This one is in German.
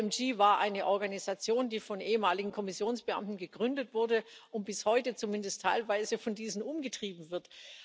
Die IMG war eine Organisation, die von ehemaligen Kommissionsbeamten gegründet wurde und bis heute zumindest teilweise von diesen umgetrieben wird.